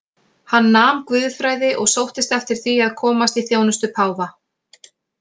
Hann nam guðfræði og sóttist eftir því að komast í þjónustu páfa.